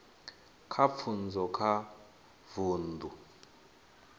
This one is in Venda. kha pfunzo kha vundu